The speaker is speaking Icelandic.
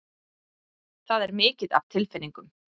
Það er mikið af tilfinningum.